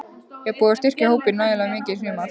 Er búið að styrkja hópinn nægilega mikið í sumar?